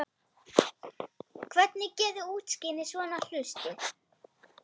Hvernig geturðu útskýrt svona hluti?